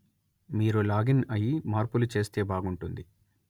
మీరు లాగిన్ అయి మార్పులు చేస్తే బాగుంటుంది